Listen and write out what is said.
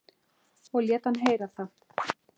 Og lét hann heyra það.